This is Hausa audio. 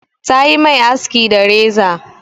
Ta yi mai aski da reza.